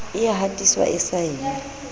e ya hatiswa e saenwe